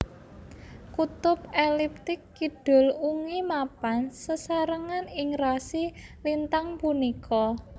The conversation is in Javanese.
Kutub eliptik kidul ungi mapan sesarengan ing rasi lintang punika